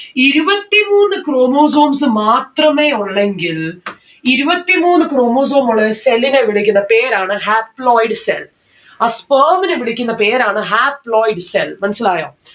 ഇരുപത്തിമൂന്ന് chromosomes മാത്രമേ ഉള്ളെങ്കിൽ ഇരുപത്തിമൂന്ന് chromosome ഉള്ളരു cell നെ വിളിക്കുന്ന പേരാണ് haploid cell ആ sperm നെ വിളിക്കുന്ന പേരാണ് haploid cell മനസ്സിലായോ